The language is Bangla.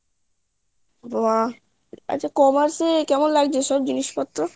বাহ আচ্ছা commerce এ কেমন লাগছে সব জিনিস পত্র